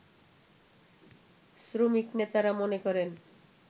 শ্রমিক নেতারা মনে করেন